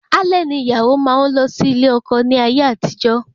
Alẹ́ ni ìyàwó máa n lọ sí ilé ọkọ ní ayé àtijó